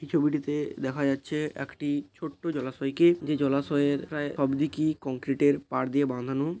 এই ছবিটিতে দেখা যাচ্ছে একটি ছোট্ট জলাশয় কে। যে জলাশয়ের প্রায় সবদিকে কংক্রিট এর পাড় দিয়ে বাঁধানো।